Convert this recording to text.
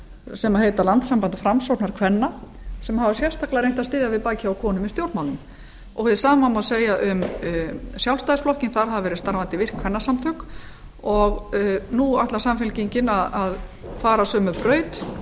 sem heita landssamband framsóknarkvenna sem hafa sérstaklega reynt að styðja við bakið á konum í stjórnmálum hið sama má segja um sjálfstfl þar hafa verið starfandi virk kvennasamtök og nú ætlar samfylkingin að fara sömu braut